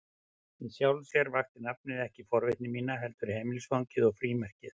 Í sjálfu sér vakti nafnið ekki forvitni mína, heldur heimilisfangið og frímerkið.